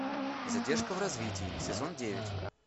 задержка в развитии сезон девять